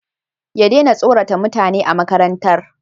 ya daina tsorata mutane a makarantar